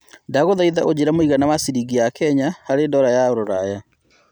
ndagũthaĩtha ũjire mũigana wa cĩrĩngĩ ya Kenya harĩ dola ya rũraya